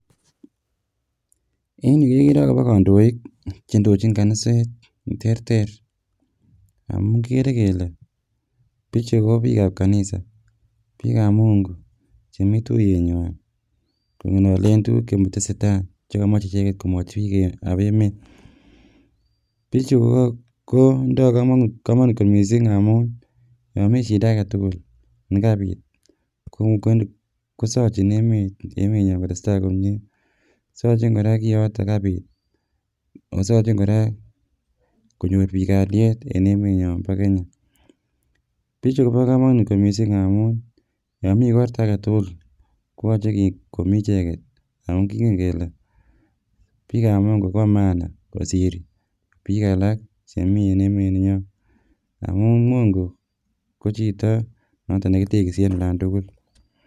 Eny yu kekere akobo kandoik che indojin kaniset che terter amu kikere kele pichu kobiik ab kanisa biik ab mungu chemi tuiyetnywa kongololen tuguk chetesetai chekomoche icheket komwachi biikab emet. Bichu kotindoi kamanut kot mising amu yami shida agetugul nekapit kosochin emet nyo kotestai komie saachin kora kiyotok kapit ako saachin kora konyor biik kalyet eng emet nyo bo kenya pichu kobo kamanut mising amu yamii igorta agetugul koyache komii icheget ako kingen kele biik ab mungu kobo maana kosir biik alak chemii en emet ninyo amu mungu ko chito notok neki tegisi eng olondugul